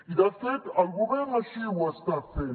i de fet el govern així ho està fent